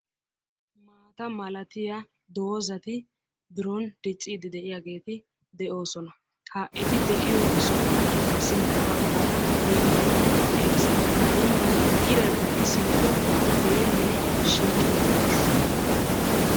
maata malattiya dozati biron diciidi de'oosona. ha eti de'iyo sohuwan sintta bagaara dembbay de'ees. ha dembban iray simmido deelee shiiqi uttiis.